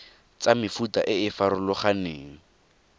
tsa mefuta e e farologaneng